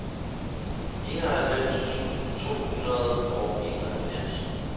enoghalvfems tusind to hundrede og enoghalvfjerds